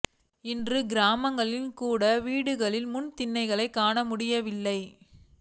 இன்று கிராமங்களில் கூட வீடுகளின் முன் திண்ணைகளைக் காண முடியவில்லை